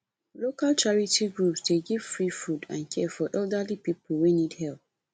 local charity groups dey give free food and care for elderly people wey need help